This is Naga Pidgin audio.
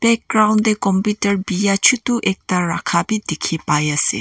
background te computer bia chotu ekta rakha bi dikhi pa ase.